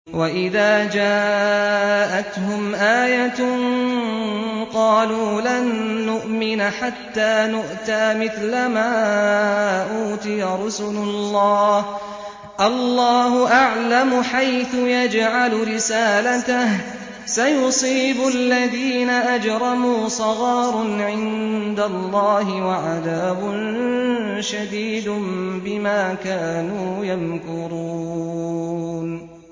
وَإِذَا جَاءَتْهُمْ آيَةٌ قَالُوا لَن نُّؤْمِنَ حَتَّىٰ نُؤْتَىٰ مِثْلَ مَا أُوتِيَ رُسُلُ اللَّهِ ۘ اللَّهُ أَعْلَمُ حَيْثُ يَجْعَلُ رِسَالَتَهُ ۗ سَيُصِيبُ الَّذِينَ أَجْرَمُوا صَغَارٌ عِندَ اللَّهِ وَعَذَابٌ شَدِيدٌ بِمَا كَانُوا يَمْكُرُونَ